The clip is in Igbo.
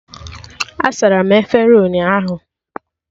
A sara m efere ụnyaahụ